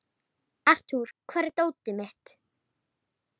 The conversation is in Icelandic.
Arthur, hvar er dótið mitt?